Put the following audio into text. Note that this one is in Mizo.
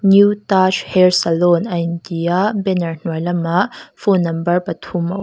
new t a j hair salon a inti a banner hnuai lamah phone number pathum awm.